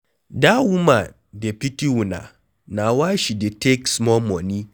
Dat woman dey pity una na why she dey take small money.